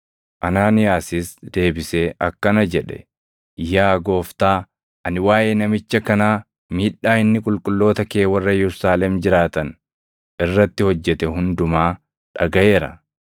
Anaaniyaasis deebisee akkana jedhe; “Yaa Gooftaa, ani waaʼee namicha kanaa, miidhaa inni qulqulloota kee warra Yerusaalem jiraatan irratti hojjete hundumaa dhagaʼeera.